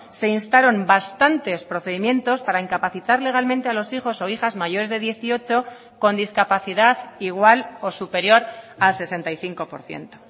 se instaron bastantes procedimientos para incapacitar legalmente a los hijos o hijas mayores de dieciocho con discapacidad igual o superior a sesenta y cinco por ciento